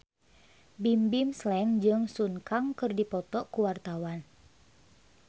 Bimbim Slank jeung Sun Kang keur dipoto ku wartawan